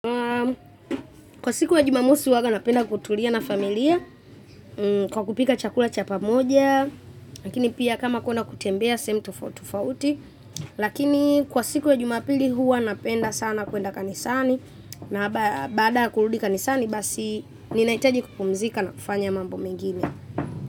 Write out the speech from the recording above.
Kwa siku ya Jumamosi uwaga napenda kutulia na familia kwa kupika chakula cha pamoja, lakini pia kama kwenda kutembea, sehemu tofauti tofauti, lakini kwa siku ya Jumapili huwa napenda sana kuenda kanisani, na baada ya kurudi kanisani basi ninahitaji kupumzika na kufanya mambo mengine.